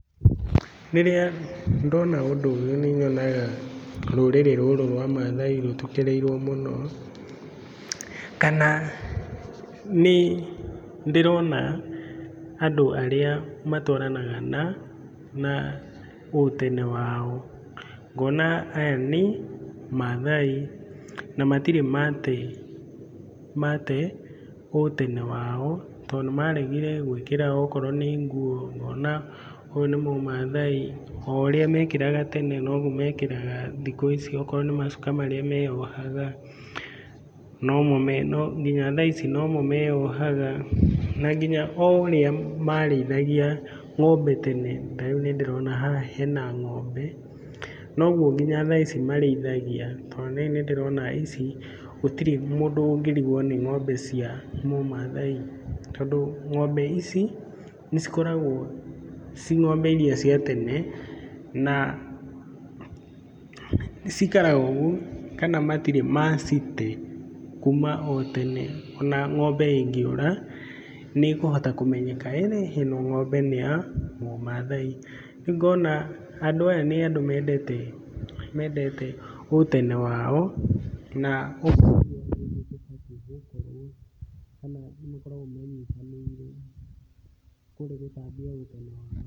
Rĩrĩa ndona ũndũ ũyũ nĩ nyonaga rũrĩrĩ rũrũ rwa maathai rũtukĩrĩirwo mũno kana nĩ ndĩrona andũ arĩa matwaranaga na ũtene wao ngona aya nĩ maathai na matirĩ mate ũtene wao tondũ nĩ maregire gwĩkĩra okorwo nĩ nguo, ngona ũyũ nĩ mũmathai, o ũrĩa mekĩraga tene noguo mekĩraga thikũ ici okorwo nĩ macuka marĩa meyohaga, nginya thaa ici nomo meyohaga, na nginya o ũrĩa marĩithagia ng'ombe tene, ta rĩu nĩ ndĩrona haha hena ng'ombe, noguo nginya thaa ici marĩithagia tondũ rĩu nĩndĩrona ici, gũtirĩ mũndũ ũngĩrigwo nĩ ng'ombe cia mũmathai tondũ ng'ombe ici, nĩ cikoragwo ciĩ ng'ombe iria cia tene na cikaraga ũguo kana matirĩ macite kuma o tene o na ng'ombe ĩngĩũra, nĩ ĩkũhota kũmenyeka ĩno ng'ombe nĩ ya mũmaathai. Rĩu ngona andũ aya nĩ andũ mendete ũtene wao na ũguo nĩguo tũbatiĩ gũkorwo kana nĩ makoragwo menyitanĩire kũrĩ gũtambia ũtene wao.